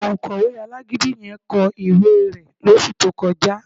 Òǹkọ̀wé alágídí yẹ kọ ìwé rẹ̀ lóṣù tó kọjá